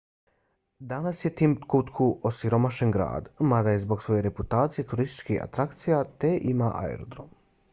danas je timbuktu osiromašen grad mada je zbog svoje reputacije turistička atrakcija te ima aerodrom